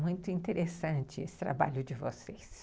Muito interessante esse trabalho de vocês.